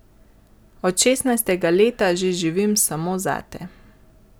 Od šestnajstega leta že živim samo zate.